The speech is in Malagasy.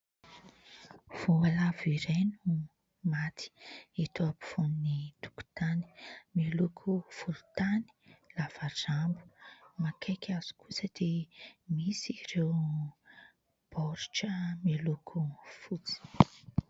Voalavo iray no maty eto ampovoan'ny tokotany. Miloko volontany, lava rambo. Akaiky azy kosa dia misy ireo baoritra miloko fotsy.